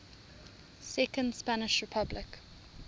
second spanish republic